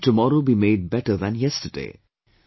How can tomorrow be made better than yesterday